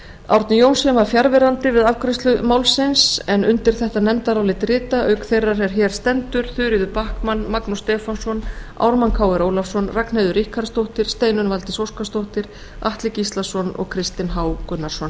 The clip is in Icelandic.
árni johnsen var fjarverandi við afgreiðslu málsins undir þetta nefndarálit rita auk þeirrar er hér stendur þuríður backman magnús stefánsson ármann krónu ólafsson ragnheiður ríkharðsdóttir steinunn valdís óskarsdóttir atli gíslason og kristinn h gunnarsson